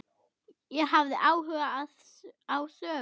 Ég hafði áhuga á sögu